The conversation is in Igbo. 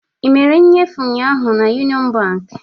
Ị mere nnyefe ụnyaahụ na Union Bank?